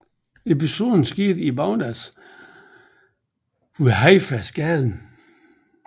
Episoden skete i Baghdad ved Haifa gaden